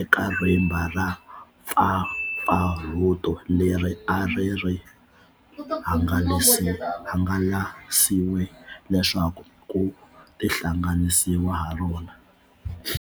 eka rimba ra mpfampfarhuto leri a ri hangalasiwe leswaku ku tihlanganisiwa harona.